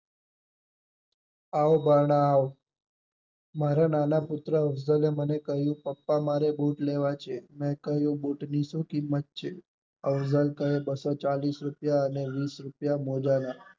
આવો ભાણા આવો, મારા નાના પુત્ર એ હજલે કહીંયુ પપ્પા મારે બુટ લેવા છે મેં કહીંયુ બુટ ની શું કિંમત છે? અફઝલે કહે બસો ચાલીસ બુટના અને વિસ મોજા ના